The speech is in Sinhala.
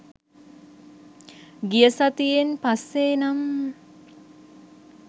ගිය සතියෙන් පස්සේ නම්